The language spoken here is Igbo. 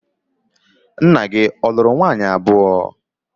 Nna gi ọ lụrụ nwaanyi abuo?